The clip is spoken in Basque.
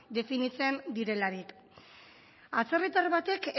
definitzen direlarik atzerritar batek